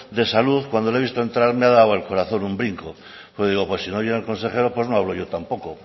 de salud cuando le he visto entrar me ha dado el corazón un brinco porque digo pues si no llega el consejero pues no hablo yo tampoco